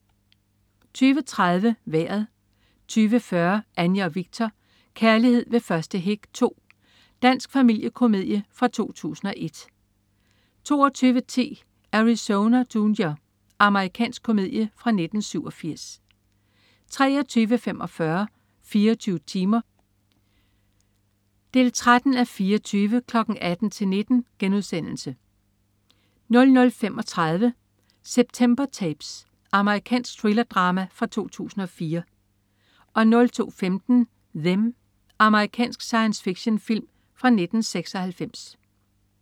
20.30 Vejret 20.40 Anja & Viktor. Kærlighed ved første hik 2. Dansk familiekomedie fra 2001 22.10 Arizona Junior. Amerikansk komedie fra 1987 23.45 24 timer 13:24. 18.00-19.00* 00.35 September Tapes. Amerikansk thriller-drama fra 2004 02.15 Them. Amerikansk sci-fi-film fra 1996